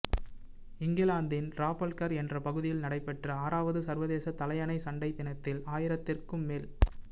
இங்கிலாந்தின் டிராபல்கர் என்ற பகுதியில் நடைபெற்ற ஆறாவது சர்வதேச தலையணை சண்டை தினத்தில் ஆயிரத்திற்கும் மேற